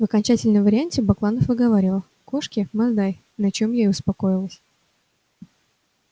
в окончательном варианте бакланов выговаривал кошки масдай на чём я и успокоилась